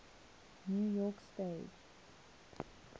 new york stage